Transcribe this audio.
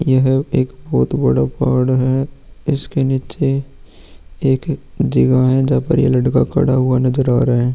यह एक बोहोत बड़ा पहाड़ है। इसके नीचे एक जगह है जहाँ पर ये लड़का खड़ा हुआ नजर आ रहा है।